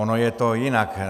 Ono je to jinak.